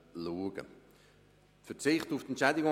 Der Präsident der FiKo ist hochgeschnellt.